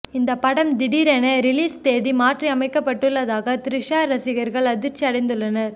இந்த படம் திடீரென ரிலீஸ் தேதி மாற்றி அமைக்கப்பட்டுள்ளதாக த்ரிஷா ரசிகர்கள் அதிர்ச்சி அடைந்துள்ளனர்